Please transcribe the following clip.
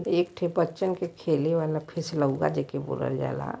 एक ठे बच्चन के खेले वाला फिशलऊगा जेके बोलल जाला।